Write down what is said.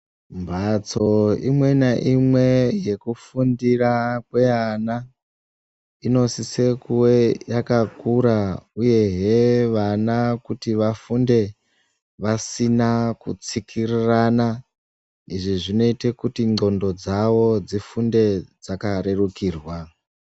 Mbatso imwe naimwe yekufundira kweana inosise kuve yakakura uyehe vana kuti vafunde vasina kutsikirirana izvi zvinoita kuti ndxondo dzavo dzifunde dzakarerukirwa.